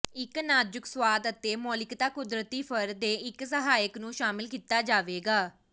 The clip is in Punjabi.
ਇੱਕ ਨਾਜ਼ੁਕ ਸੁਆਦ ਅਤੇ ਮੌਲਿਕਤਾ ਕੁਦਰਤੀ ਫਰ ਦੇ ਇੱਕ ਸਹਾਇਕ ਨੂੰ ਸ਼ਾਮਿਲ ਕੀਤਾ ਜਾਵੇਗਾ